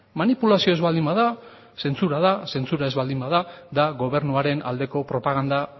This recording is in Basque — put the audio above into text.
manipulazio ez baldin bada zentzura da zentzura ez baldin bada da gobernuaren aldeko propaganda